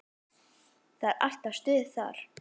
Það er alltaf stuð þar.